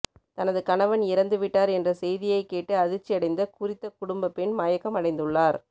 தனது கணவன் இறந்துவிட்டார் என்ற செய்தியைக் கேட்டு அதிர்ச்சியடைந்த குறித்த குடும்ப பெண் மயக்கம் அடைந்துள்ளார்